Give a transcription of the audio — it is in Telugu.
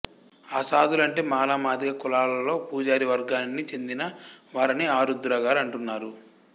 ఆసాదులంటే మాల మాదిక కులాలలో పూజారి వర్గానిని చెందిన వారని ఆరుద్ర గారు అంటున్నారు